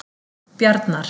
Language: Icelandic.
Bjarnar